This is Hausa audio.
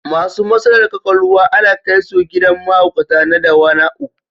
Masu matsalar ƙwaƙwalwa ana kai su gidan mahaukata na Dawanau.